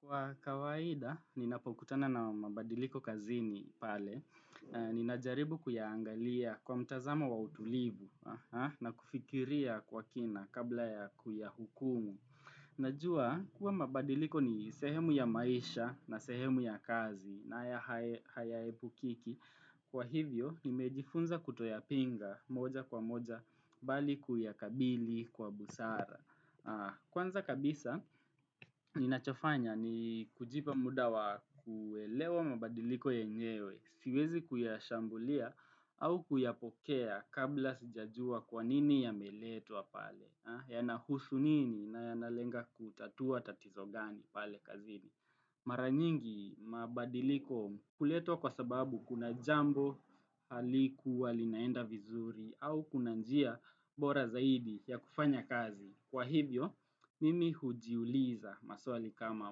Kwa kawaida, ninapokutana na mabadiliko kazini pale, ninajaribu kuyaangalia kwa mtazamo wa utulivu na kufikiria kwa kina kabla ya kuyahukumu. Najua, huwa mabadiliko ni sehemu ya maisha na sehemu ya kazi na hayaepukiki, kwa hivyo, nimejifunza kutoyapinga moja kwa moja bali kuya kabili kwa busara. Kwanza kabisa, ninachofanya ni kujipa mdawa wa kuelewa mabadiliko yenyewe, siwezi kuyashambulia au kuyapokea kabla sijajua kwanini yame letwa pale, yanahusu nini na yanalenga kutatua tatizo gani pale kazini. Mara nyingi mabadiliko huletwa kwa sababu kuna jambo halikuwa linaenda vizuri au kuna njia bora zaidi ya kufanya kazi. Kwa hivyo, mimi hujiuliza maswali kama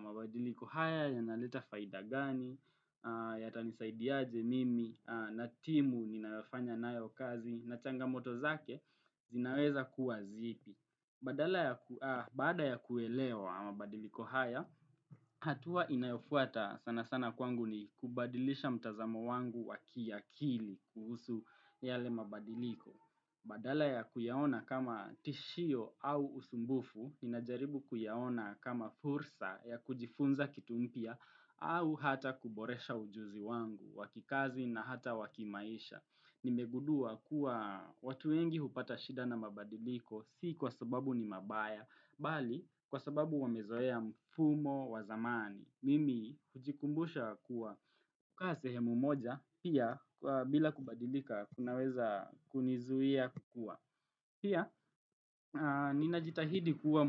mabadiliko haya yanaleta faida gani yatanisaidiaje mimi na timu ninayofanya nayo kazi na changa moto zake zinaweza kuwa zipi. Badala ya kuelewa mabadiliko haya, hatua inayofuata sana sana kwangu ni kubadilisha mtazamo wangu wa kiakili kuhusu yale mabadiliko. Badala ya kuyaona kama tishio au usumbufu, ninajaribu kuyaona kama fursa ya kujifunza kitu mpya au hata kuboresha ujuzi wangu, wa kikazi na hata wakimaisha. Nimegudua kuwa watu wengi hupata shida na mabadiliko si kwa sababu ni mabaya, bali kwa sababu wamezoea mfumo wa zamani. Mimi hujikumbusha kuwa kukaa sehemu moja pia bila kubadilika kunaweza kunizuia kukua. Pia, ninajitahidi kuwa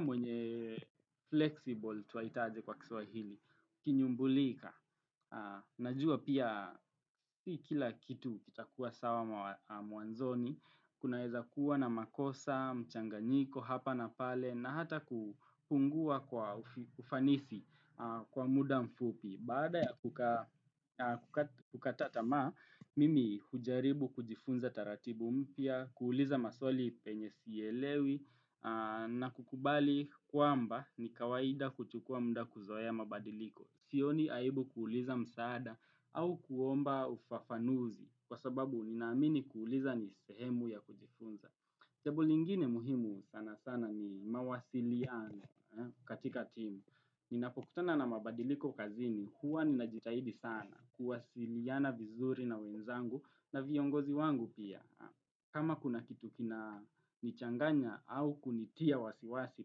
mwenye flexible twaitaje kwa kiswahili, kinyumbulika, najua pia kila kitu kitakuwa sawa mwanzoni, kuna weza kuwa na makosa, mchanganiko, hapa na pale, na hata kufungua kwa ufanisi kwa muda mfupi. Baada ya kukata tamaa, mimi hujaribu kujifunza taratibu mpya, kuuliza maswali penye sielewi na kukubali kwamba ni kawaida kuchukua mda kuzoea mabadiliko. Sioni aibu kuuliza msaada au kuomba ufafanuzi kwa sababu nina amini kuuliza ni sehemu ya kujifunza. Jambo lingine muhimu sana sana ni mawasiliano katika timu. Ninapokutana na mabadiliko kazini, huwa ninajitahidi sana kuwasiliana vizuri na wenzangu na viongozi wangu pia. Kama kuna kitu kina nichanganya au kunitia wasiwasi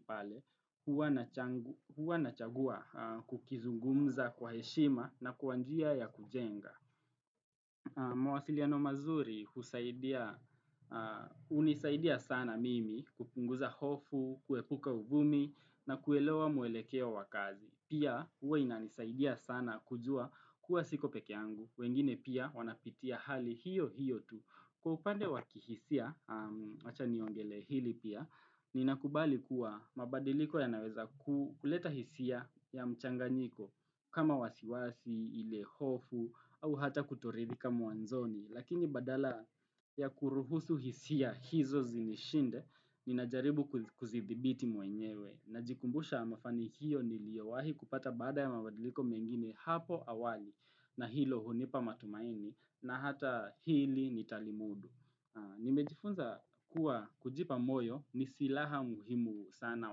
pale, huwa nachagua kukizungumza kwa heshima na kwa njia ya kujenga. Mawasiliano mazuri husaidia unisaidia sana mimi kupunguza hofu, kuepuka uvumi na kuelewa mwelekeo wakazi Pia huwa inanisaidia sana kujua kuwa siko pekeey angu, wengine pia wanapitia hali hiyo hiyo tu Kwa upande wakihisia, wacha niongelee hili pia, ni nakubali kuwa mabadiliko ya naweza kuleta hisia ya mchanganyiko kama wasiwasi, ile hofu au hata kutoridhika mwanzoni Lakini badala ya kuruhusu hisia hizo zinishinde Ninajaribu kuzidhibiti mwenyewe Najikumbusha mafanikio niliyowahi kupata baada ya mabadiliko mengine hapo awali na hilo hunipa matumaini na hata hili nitalimudu Nimejifunza kuwa kujipa moyo ni silaha muhimu sana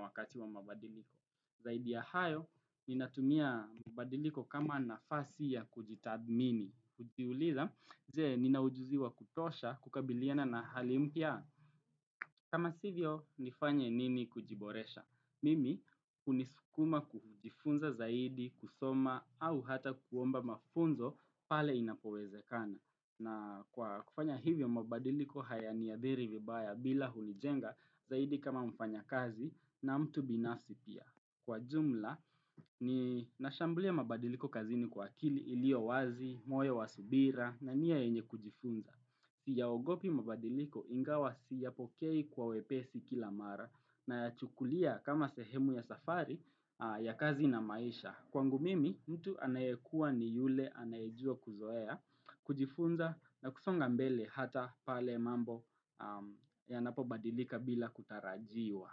wakati wa mabadiliko Zaidi ya hayo, ninatumia mabadiliko kama nafasi ya kujitathmini. Hujiuliza, je nina ujuzi wa kutosha, kukabiliana na halimpya. Kama sivyo, nifanye nini kujiboresha. Mimi, kunisukuma kujifunza zaidi, kusoma, au hata kuomba mafunzo pale inapoweze kana. Na kwa kufanya hivyo mabadiliko haya niadhiri vibaya bila hunijenga zaidi kama mfanyakazi na mtu binafsi pia. Kwa jumla, ni nashambulia mabadiliko kazini kwa akili iliyo wazi, moyo wa subira, na nia yenye kujifunza. Siyaogopi mabadiliko ingawa siyapokei kwa wepesi kila mara, na ya chukulia kama sehemu ya safari ya kazi na maisha. Kwangu mimi, mtu anayekuwa ni yule anayejua kuzoea, kujifunza, na kusonga mbele ata pale mambo yanapobadilika bila kutarajiwa.